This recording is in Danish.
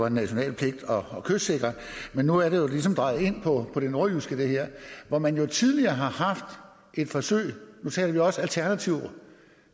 en national pligt at kystsikre men nu er det her ligesom drejet ind på det nordjyske hvor man jo tidligere har haft et forsøg nu taler vi også om alternativ